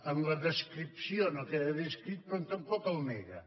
en la descripció no queda descrit però tampoc el nega